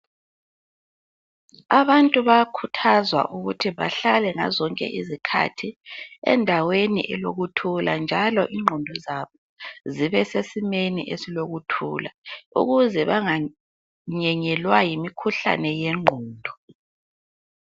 Abantu bayakhuthazwa ukuthi bahlale ngazo zonke izikhathi endaweni elokuthula njalo ingqondo zabo zibe sesimeni esilokuthula ukuze banganyenyelwa yimikhuhlane yengqondo.